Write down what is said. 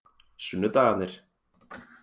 sunnudagarnir